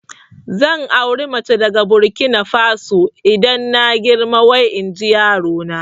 Zan auri mace daga Burkina Faso idan na girma wai inji yarona